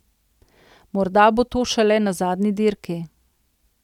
Morda bo to šele na zadnji dirki.